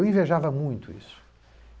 Eu invejava muito isso.